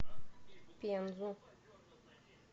пензу